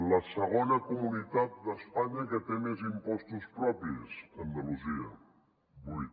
la segona comunitat d’espanya que té més impostos propis andalusia vuit